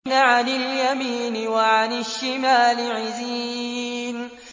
عَنِ الْيَمِينِ وَعَنِ الشِّمَالِ عِزِينَ